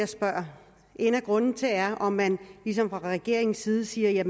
spørger en af grundene er om man fra regeringens side siger at